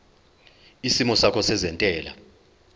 isimo sakho sezentela